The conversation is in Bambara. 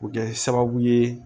O bɛ kɛ sababu ye